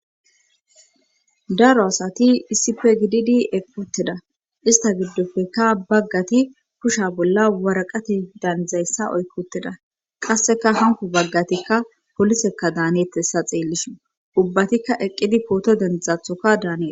daro asati issipe gididi equuttida ista gidopekka baggati kusha bolla waraqate daanzeessa oyquuttida;qassekka hankko baggatikka polisekkadaanetes ta xeelishin;ubatikka eqqidi pooto denddizathoka daanes.